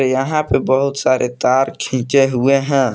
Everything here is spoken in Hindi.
यहां पे बहुत सारे तार खींचे हुए हैं।